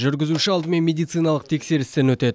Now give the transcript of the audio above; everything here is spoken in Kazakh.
жүргізуші алдымен медициналық тексерістен өтеді